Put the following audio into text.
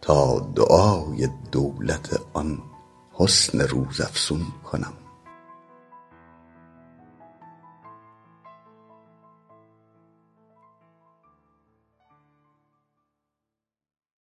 تا دعای دولت آن حسن روزافزون کنم